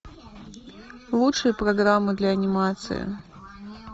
лучшие программы для анимации